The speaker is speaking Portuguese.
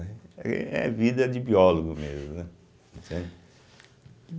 É é vida de biólogo mesmo, né, entende.